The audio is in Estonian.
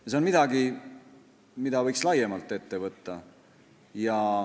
See on midagi, mida võiks laiemalt ette võtta.